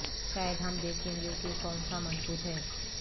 شاید ہم دیکھیں گے کہ کون سا مضبوط ہے